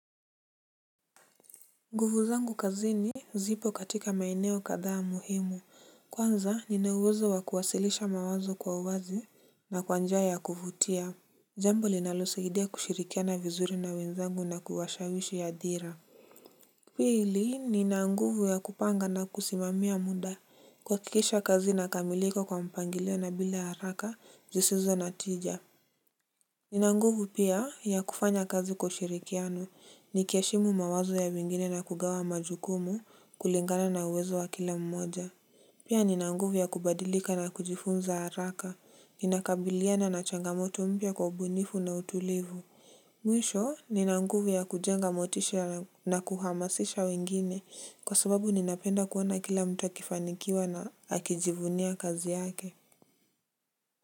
Nguvu zangu kazini zipo katika maeneo kadhaa muhimu. Kwanza ninauwezo wa kuwasilisha mawazo kwa uwazi na kwa njia ya kuvutia. Jambo linalosaidia kushirikiana vizuri na wenzangu na kuwashawishi hadhira. Pili nina nguvu ya kupanga na kusimamia muda kuhakikisha kazi inakamilika kwa mpangilio na bila haraka zisizo na tija. Nina nguvu pia ya kufanya kazi kwa ushirikiano. Nikiheshimu mawazo ya wengine na kugawa majukumu kulingana na uwezo wa kila mmoja. Pia nina nguvu ya kubadilika na kujifunza haraka. Ninakabiliana na changamoto mpya kwa ubunifu na utulivu. Mwisho, nina nguvu ya kujenga motisha na kuhamasisha wengine kwa sababu ninapenda kuona kila mtu akifanikiwa na akijivunia kazi yake.